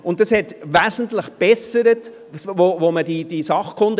Das hat wesentlich gebessert, als man diese SKN hatte.